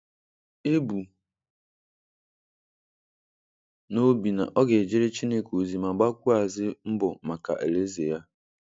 E bu n’obi na ọ ga ejere Chineke ozi ma gbakwuazi mbọ maka Alaeze Ya.